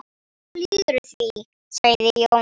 Þú lýgur því, sagði Jón.